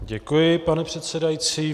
Děkuji, pane předsedající.